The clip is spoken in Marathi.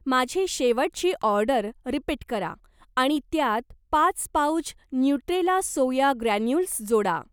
माझी शेवटची ऑर्डर रिपीट करा आणि त्यात पाच पाउच न्यूट्रेला सोया ग्रॅन्युल्स जोडा.